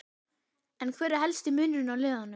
En hver er helsti munurinn á liðunum?